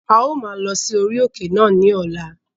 A ó maa lọ sí orí òkè náà ní ọ̀la